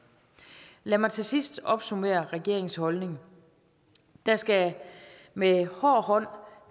lad mig til sidst opsummere regeringens holdning der skal med hård hånd